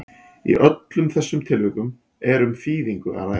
í öllum þessum tilvikum er um þýðingu að ræða